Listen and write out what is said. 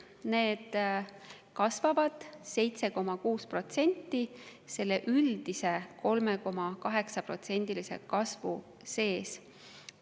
Need kasvavad 7,6% selle üldise 3,8%‑lise kasvu sees.